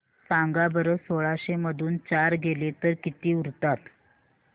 सांगा बरं सोळाशे मधून चार गेले तर किती उरतात